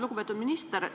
Lugupeetud minister!